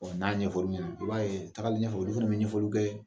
n'a ɲɛfɔ l'u ɲɛna i b'a ye tagalen ɲɛfɛ olu fɛnɛ bɛ ɲɛfɔli kɛ.